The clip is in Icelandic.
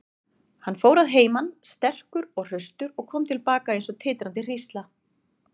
Hann fór að heiman sterkur og hraustur og kom til baka eins og titrandi hrísla.